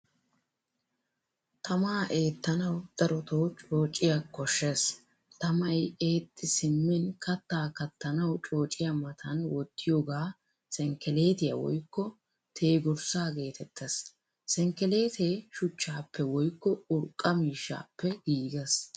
Tamaa ettanawu darotto coocciyaa koshshees. Tamaay eexxi simin kattaa kattanawu coocciya matan wottiyoga senkelettiyaa woykko teegurssa geetettees. Senkkelette shuchchappe woykko urqqa miishshappe giigees.